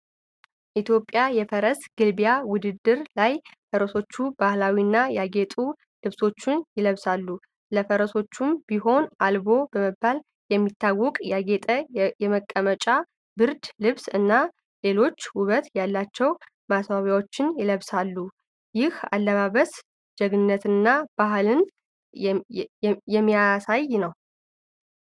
ኢትዮጵያ የፈረስ ግልቢያ ውድድሮች ላይ ፈረሰኞቹ ባህላዊና ያጌጡ ልብሶችን ይለብሳሉ። ለፈረሶቹም ቢሆን 'አልቦ' በመባል የሚታወቀው ያጌጠ የመቀመጫ ብርድ ልብስ እና ሌሎች ውበት ያላቸው ማስዋቢያዎች ይለበሳሉ። ይህ አለባበስ ጀግንነትንና ባሕልን የሚያሳይ ነው።